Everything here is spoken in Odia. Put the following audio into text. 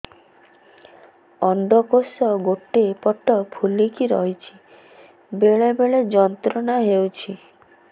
ଅଣ୍ଡକୋଷ ଗୋଟେ ପଟ ଫୁଲିକି ରହଛି ବେଳେ ବେଳେ ଯନ୍ତ୍ରଣା ହେଉଛି